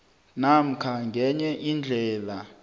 namkha ngenye indlela